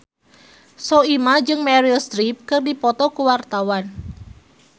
Soimah jeung Meryl Streep keur dipoto ku wartawan